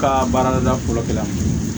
Ka baarada fɔlɔ kɛla